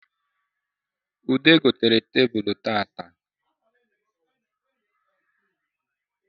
Ude gotere tebulu tata